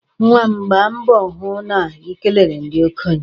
Nwa m, gbaa mbọ hụ na i kelere ndị okenye.